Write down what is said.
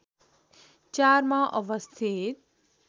४ मा अवस्थित